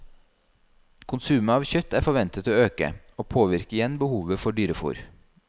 Konsumet av kjøtt er forventet å øke, og påvirker igjen behovet for dyrefôr.